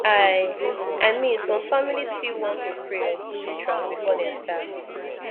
i i min som familiz fit wan to pray or do rituals before dem start